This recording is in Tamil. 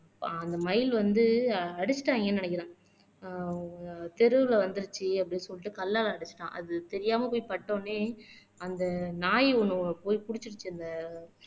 ஆஹ் அந்த மயில் வந்து அடிச்சுட்டாங்கன்னு நினைக்கிறான் ஆஹ் தெருவுல வந்துருச்சு அப்படீன்னு சொல்லிட்டு கல்லால அடிச்சுட்டான் அது தெரியாம போய் பட்டவுடனே அந்த நாய் ஒண்ணு போய் புடிச்சிருச்சு அந்த